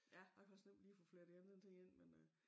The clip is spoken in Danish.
Ja jeg kan også nemt lige få flettet en elelr anden ting ind men øh